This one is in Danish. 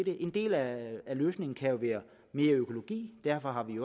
en del af løsningen kan jo være mere økologi derfor har vi